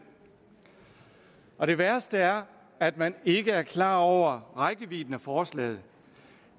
og det værste er at man ikke er klar over rækkevidden af forslaget